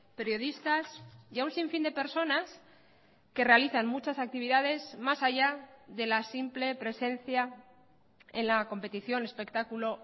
periodistas y a un sinfín de personas que realizan muchas actividades más allá de la simple presencia en la competición espectáculo